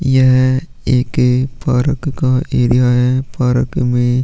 यह एक पारक का एरिया है पारक में --